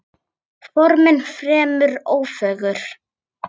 Formin fremur ófögur.